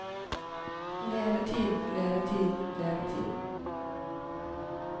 levetid levetid levetid